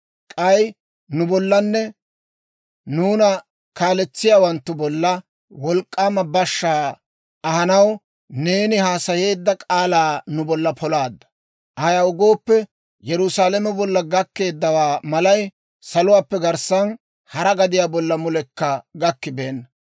K'ay nu bollanne nuuna kaaletsiyaawanttu bolla wolk'k'aama bashshaa ahanaw neeni haasayeedda k'aalaa nu bolla polaadda. Ayaw gooppe, Yerusaalame bolla gakkeeddawaa malay saluwaappe garssan hara gadiyaa bolla mulekka gakkibeenna.